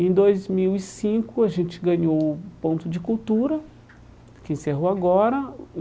Em dois mil e cinco, a gente ganhou o ponto de cultura, que encerrou agora.